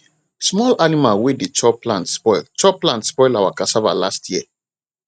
small animal wey de chop plant spoil chop plant spoil our cassava last year